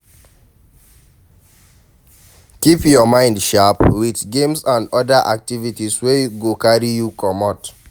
Keep your mind sharp with games and oda activities wey go carry you comot